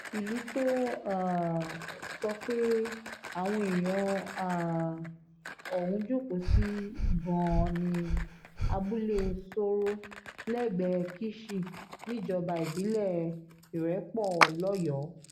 ìlú tó um sọ pé àwọn èèyàn um ọ̀hún jókòó sí gan-an ní abúlé sooro lẹ́gbẹ̀ẹ́ kíṣì níjọba ìbílẹ̀ irẹ́pọ̀ lọ́yọ́ọ́